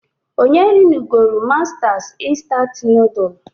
Onye rinugolu Mastas instant nodulu?